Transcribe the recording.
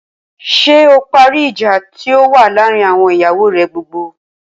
Ṣé o parí ìjà tí ó wà láàárín àwọn ìyàwó rè gbogbo?